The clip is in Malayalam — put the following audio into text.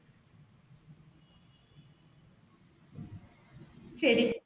ശരി.